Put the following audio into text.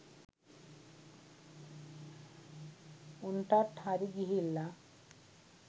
උන්ටට් හරි ගිහිල්ල